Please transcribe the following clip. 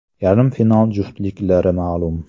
Yarim final juftliklari ma’lum.